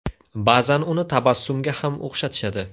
Ba’zan uni tabassumga ham o‘xshatishadi.